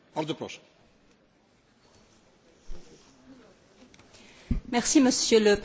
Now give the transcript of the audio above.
Monsieur le Président, c'était moi qui était rapporteure, je vous le rappelle, pour la décharge du CEPOL.